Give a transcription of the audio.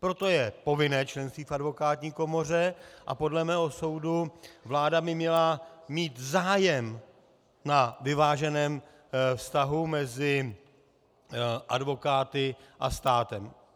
Proto je povinné členství v advokátní komoře a podle mého soudu vláda by měla mít zájem na vyváženém vztahu mezi advokáty a státem.